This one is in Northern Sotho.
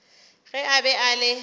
ge a be a le